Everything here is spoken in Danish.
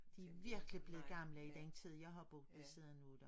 De virkelig blevet gamle i den tid jeg har boet ved siden af dem